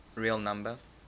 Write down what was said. real number